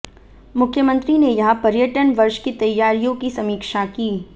मुख्यमंत्री ने यहां पर्यटन वर्ष की तैयारियों की समीक्षा की